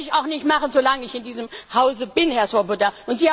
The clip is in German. Das werde ich auch nicht machen, so lange ich in diesem Hause bin, Herr Swoboda.